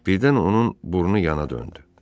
Birdən onun burnu yana döndü.